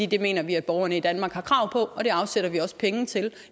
det mener vi at borgerne i danmark har krav på og det afsætter vi også penge til